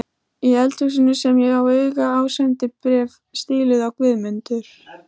Í eldhúsinu kem ég auga á sendibréf stíluð á Guðmundur